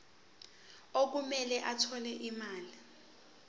okumele athole imali